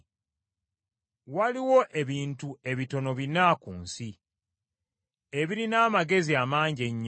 Waliwo ebintu ebitono bina ku nsi, ebirina amagezi amangi ennyo.